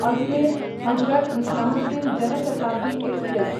Ajmer Hazrat Nizamuddin Jan Shatabdi express